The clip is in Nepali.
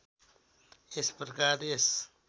यस प्रकार यस